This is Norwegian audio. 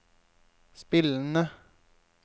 spillende